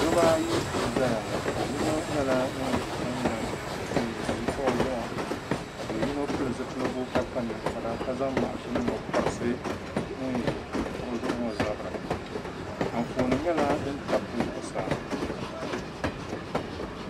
Dabba ayi n ʒɛya ŋo do yino nyɛla ŋun ʒi kuɣu zuɣu ka do yino kpa ninkpara ka pili zipiligu ka zaŋ mashin ni o korisi ŋun ʒi kuɣu zuɣu ŋo zabiri Anfooni nyɛla din tabi dbi zuɣusaa